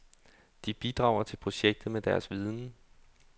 De bidrager til projektet med deres viden.